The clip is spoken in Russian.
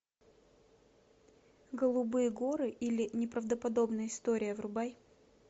голубые горы или неправдоподобная история врубай